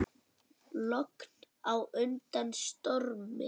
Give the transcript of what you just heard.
Logn á undan stormi.